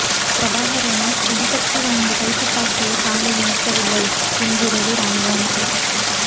பிரபாகரனின் அதி சக்தி வாய்ந்த கைத்துப்பாக்கியை தாங்கள் மீட்கவில்லை என்கிறது இராணுவம்